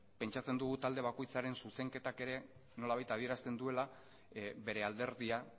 pentsatzen dugu talde bakoitzaren zuzenketak ere nolabait adierazten duela bere alderdia